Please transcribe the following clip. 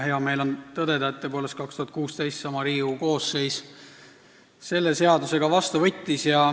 Hea meel on tõdeda, et tõepoolest võttis 2016. aastal seesama Riigikogu koosseis selle seaduse ka vastu.